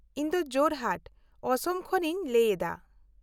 -ᱤᱧ ᱫᱚ ᱡᱳᱨᱦᱟᱴ, ᱚᱥᱚᱢ ᱠᱷᱚᱱ ᱤᱧ ᱞᱟᱹᱭ ᱮᱫᱟ ᱾